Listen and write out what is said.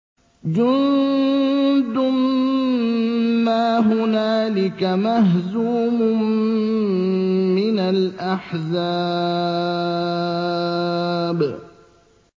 جُندٌ مَّا هُنَالِكَ مَهْزُومٌ مِّنَ الْأَحْزَابِ